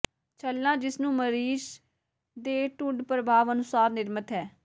ਛੱਲਾ ਜਿਸ ਨੂੰ ਮਰੀਜ਼ ਦੇ ਟੁੰਡ ਪ੍ਰਭਾਵ ਅਨੁਸਾਰ ਨਿਰਮਿਤ ਹੈ